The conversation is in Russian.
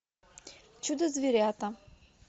чудо зверята